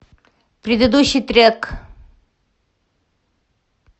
предыдущий трек